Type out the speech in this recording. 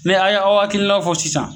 Ne aw ye a' hakilinaw fɔ sisan